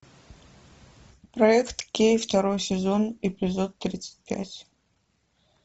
проект кей второй сезон эпизод тридцать пять